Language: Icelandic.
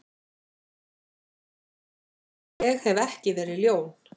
Ég hef ekki verið ljón.